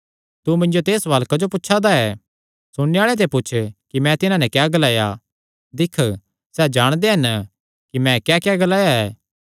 तू मिन्जो ते एह़ सवाल क्जो पुछा दा ऐ सुणने आल़ेआं ते पुछ कि मैं तिन्हां नैं क्या ग्लाया दिक्ख सैह़ जाणदे हन कि मैं क्याक्या ग्लाया ऐ